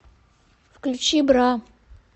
включи бра